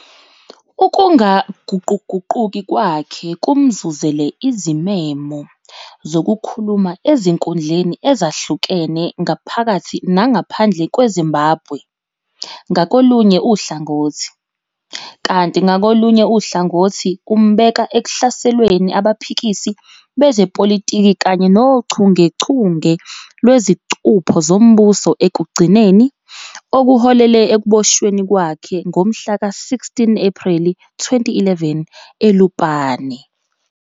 Ukungaguquguquki kwakhe kumzuzele izimemo zokukhuluma ezinkundleni ezahlukene ngaphakathi nangaphandle kweZimbabwe ngakolunye uhlangothi, kanti ngakolunye uhlangothi umbeka ekuhlaselweni abaphikisi bezepolitiki kanye nochungechunge lwezicupho zombuso ekugcineni okuholele ekuboshweni kwakhe ngomhlaka 16 Ephreli 2011 eLupane.